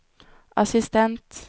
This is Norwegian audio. assistent